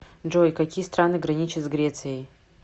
джой какие страны граничат с грецией